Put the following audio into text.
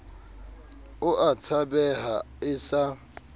o a tshabeha e sa